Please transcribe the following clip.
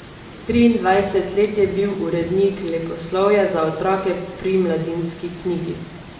Triindvajset let je bil urednik leposlovja za otroke pri Mladinski knjigi.